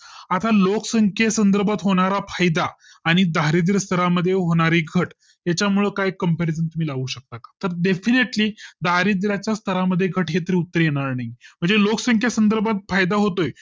आता लोकसंख्ये संदर्भात होणार फायदा आणि दारिद्र्य स्तरामध्ये होणारी घट तिच्यामुळे काही comparison तुम्ही लावू शकता का तर definitely दारिद्यच्यास्त्रामध्ये घट हे तर उत्तर येणार नाही म्हणजे लोकसंख्या संदर्भात फायदा होतोय